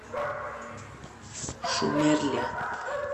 шумерля